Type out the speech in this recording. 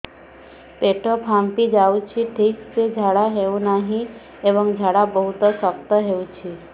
ପେଟ ଫାମ୍ପି ଯାଉଛି ଠିକ ସେ ଝାଡା ହେଉନାହିଁ ଏବଂ ଝାଡା ବହୁତ ଶକ୍ତ ହେଉଛି